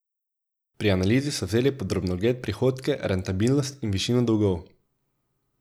Pri analizi so vzeli pod drobnogled prihodke, rentabilnost in višino dolgov.